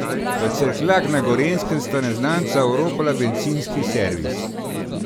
V Cerkljah na Gorenjskem sta neznanca oropala bencinski servis.